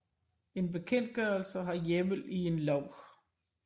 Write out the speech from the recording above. En bekendtgørelse har hjemmel i en lov